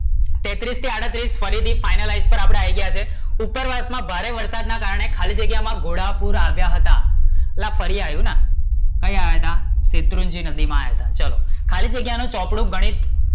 તેત્રીસ થી આડત્રીસ ફરી થી અપડે finalise પર આપડે આવી ગયા છે ઉપરવાસ માં ભારે વરસાદ ના કારણે ખાલીજગ્યા માં ઘોડાપુર આવ્યા હતા, અલા, ફરી આયુ ને કઈ આયા હતા? શેત્રુજ્ય નદી માં આવ્યા હતા, ચલો, ખાલી જગ્યા માં ચોપડો ગણિત,